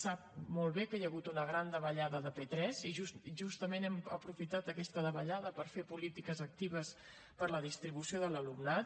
sap molt bé que hi ha hagut una gran davallada de p3 i justament hem aprofitat aquesta davallada per fer polítiques actives per a la distribució de l’alumnat